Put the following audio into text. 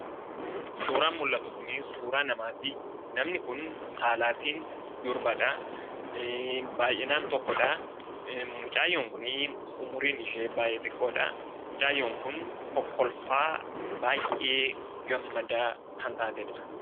suuraan mul'atu kunii suuraa namaatii, namni kun saalaatiin durbadhaa. baayyinaan tokkodhaa mucayyoon kunii umuriin ishee xiqqoodhaa , mucayyoon kunii kokkolfaa baayyee gammadaa kan taatedha.